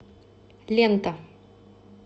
лента